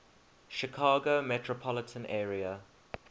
chicago metropolitan area